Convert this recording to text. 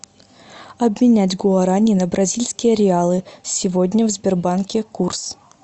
обменять гуарани на бразильские реалы сегодня в сбербанке курс